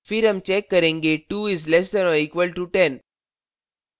फिर हम check करेंगे 2 is less than or equal to 10